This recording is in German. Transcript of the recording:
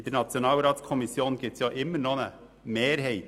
In der Nationalratskommission gibt es ja immer noch eine Mehrheit.